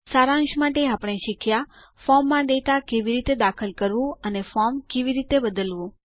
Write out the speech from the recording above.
સારાંશ માટે આપણે શીખ્યા ફોર્મમાં ડેટા કેવી રીતે દાખલ કરવું અને ફોર્મ કેવી રીતે બદલવું